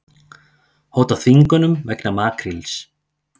Hóta þvingunum vegna makríls